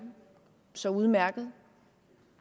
så udmærket